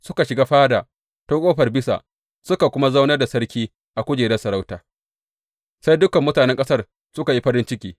Suka shiga fada ta Ƙofar Bisa suka kuma zaunar da sarki a kujerar sarauta, sai dukan mutanen ƙasar suka yi farin ciki.